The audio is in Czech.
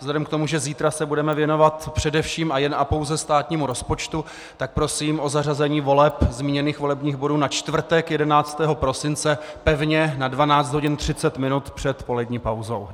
Vzhledem k tomu, že zítra se budeme věnovat především a jen a pouze státnímu rozpočtu, tak prosím o zařazení voleb zmíněných volebních bodů na čtvrtek 11. prosince pevně na 12.30 hodin před polední pauzou.